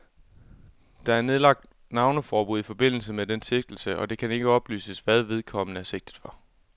Der er nedlagt navneforbud i forbindelse med denne sigtelse, og det kan ikke oplyses, hvad vedkommende er sigtet for.